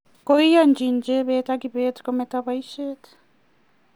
koyanjin jebet ak kibet kometo boishet